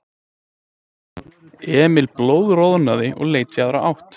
Emil blóðroðnaði og leit í aðra átt.